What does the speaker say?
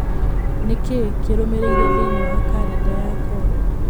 Nĩ kĩĩ kĩrũmĩrĩire thĩinĩ wa kalenda yakwa.